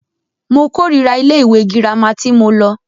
Mo kòrira ilé ìwé gírámà tí mo lọ.